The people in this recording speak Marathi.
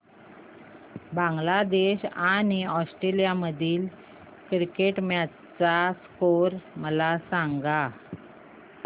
बांगलादेश आणि ऑस्ट्रेलिया मधील क्रिकेट मॅच चा स्कोअर मला सांगा